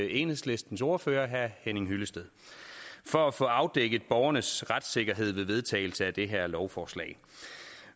enhedslistens ordfører herre henning hyllested for at få afdækket borgernes retssikkerhed ved vedtagelse af det her lovforslag